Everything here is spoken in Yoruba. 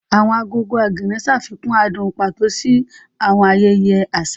Awọn agogo Ogene ṣafikun adun pato si awọn ayẹyẹ aṣa.